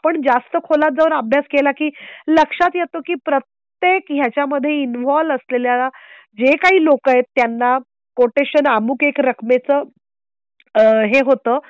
मग आपण जास्त खोलात जाऊन अभ्यास केला की लक्षात येत की प्रत्येक ह्याच्या मध्ये इन्वॉल्व असलेल्या जे काही लोक आहेत. त्यांना कोटेशन अमुक एका रकमेचं आह हे होतं.